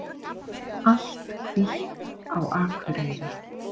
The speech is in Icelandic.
Allt hvítt á Akureyri